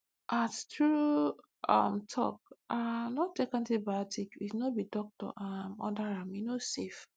halttrue um talk um no take antibiotics if no be doctor um order ame no dey safe